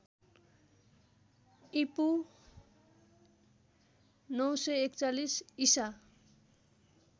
ईपू ९४१ ईसा